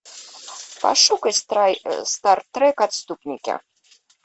пошукай стартрек отступники